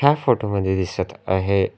या फोटो मध्ये दिसत आहे--